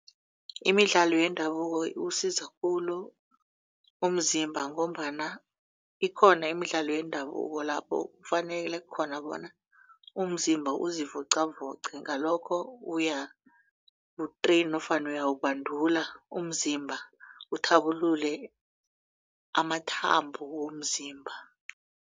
Imidlalo yendabuko iwusiza khulu umzimba ngombana ikhona imidlalo yendabuko lapho kufanele khona bona umzimba uzivoqavoqe ngalokho uyawu-train nofana uyawubandula umzimba uthabulule amathambo womzimba.